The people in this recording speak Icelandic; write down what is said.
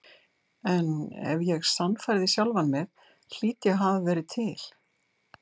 En ef ég sannfærði sjálfan mig hlýt ég að hafa verið til.